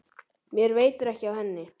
Mér veitir ekki af henni.